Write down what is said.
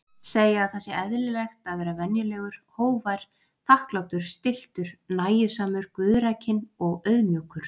Segja að það sé eðlilegt að vera venjulegur, hógvær, þakklátur, stilltur, nægjusamur, guðrækinn og auðmjúkur.